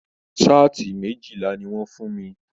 Saati méjìlá ní wọn fún mí.